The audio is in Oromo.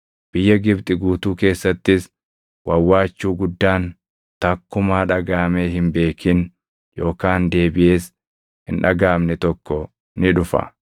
Biyya Gibxi guutuu keessattis wawwaachuu guddaan takkumaa dhagaʼamee hin beekin yookaan deebiʼees hin dhagaʼamne tokko ni dhufa.